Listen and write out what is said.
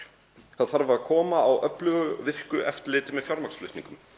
það þarf að koma á öflugu virku eftirliti með fjármagnsflutningum